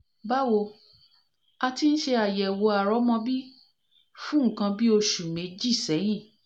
báwo a ti ń ṣe àyẹ̀wò àrọ́mọbí fún nǹkan bí oṣù méjì sẹ́yìn